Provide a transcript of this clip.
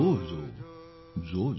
जोजोजो